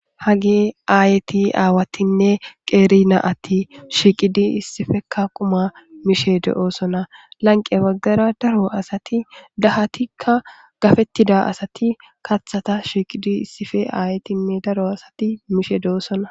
Hagey aayeti, aawatinne qeeri na'ati shiiqidi issippe quma mishe de'osona. Lanqqe baggara daro asati dahatikka gafetida asati kaththata shiiqidinne issippe aayetinne daro asati mishe doosona.